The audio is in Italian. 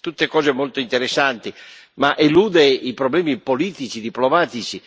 tutte cose molto interessanti, ma elude i problemi politici, diplomatici